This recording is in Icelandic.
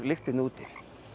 lyktinni úti